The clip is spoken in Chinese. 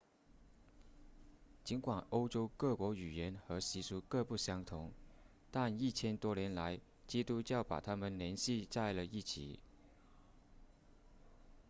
尽管欧洲各国语言和习俗各不相同但一千多年来基督教把它们联系在了一起